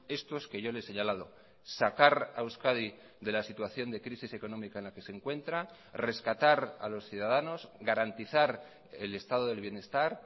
estos que yo le he señalado sacar a euskadi de la situación de crisis económica en la que se encuentra rescatar a los ciudadanos garantizar el estado del bienestar